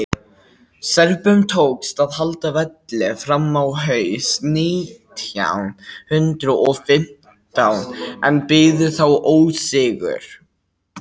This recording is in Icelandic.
serbum tókst að halda velli fram á haust nítján hundrað og fimmtán en biðu þá ósigur